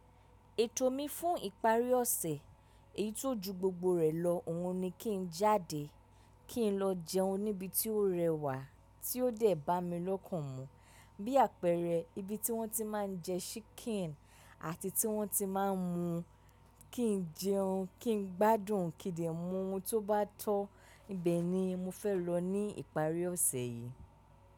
Ètò mi fún ìparí ọ̀sẹ̀, èyí tó ju gbogbo rẹ̀ lọ, òhun ni kí n jáde, kí n lọ jẹun ní ibi tí ó rẹwà tí ó dẹ̀ bá mi lọ́kàn mu. Bí àpẹẹrẹ ibi tí wọ́n ti máa ń jẹ ṣíkìn àti tí wọ́n ti máa ń mu, kí n jẹun, kí n gbádùn, kín dè mu ohun tó bá tọ́, ibẹ̀ ni mo fẹ́ lọ ní ìparí ọ̀sẹ̀ yìí.